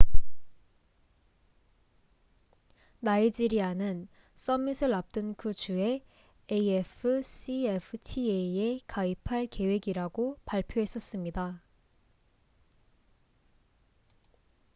나이지리아는 써밋을 앞둔 그 주에 afcfta에 가입할 계획이라고 발표했었습니다